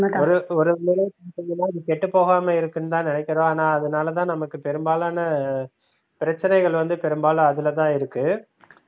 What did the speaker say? ஒரு செய்யும்போது இது கெட்டுப்போகாம இருக்குன்னு தான் நினைக்கிறோம் ஆனா அதனால தான் நமக்கு பெரும்பாலான பிரச்சினைகள் வந்து பெரும்பாலும் அதுல தான் இருக்கு